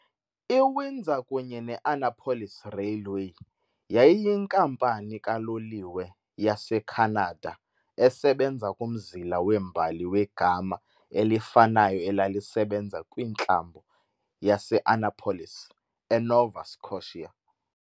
I-Windsor kunye ne-Annapolis Railway yayiyinkampani kaloliwe yaseKhanada esebenza kumzila wembali wegama elifanayo elalisebenza kwiNtlambo yase-Annapolis, eNova Scotia.